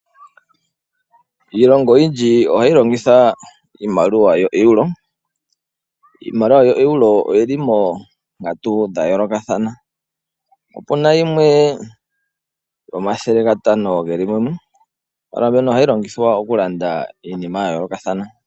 Iilongo oyindji ohayi longitha iimaliwa yoEuro . Iimaliwa yoEuro oyi li moonkatu dhayoolokathana . Opuna yimwe 500 geli mumwe . Iimaliwa mbino ohayi longithwa okulanda iinima yayoolokathana.